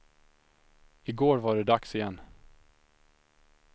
I går var det dags igen.